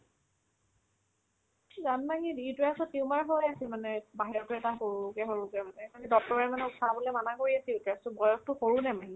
জানমাহীৰ uterus ত tumor হৈ আছে মানে বাহিৰতও এটা সৰুকে সৰুকে মানে সেইকাৰণে doctor য়ে মানে উঠাবলে মানে কৰি আছিল বয়সতো সৰু নে মাহীৰ